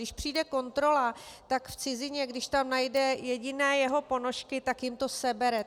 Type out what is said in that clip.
Když přijde kontrola, tak v cizině, když tam najde jediné jeho ponožky, tak jim to sebere.